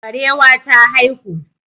Barewa ta haihu.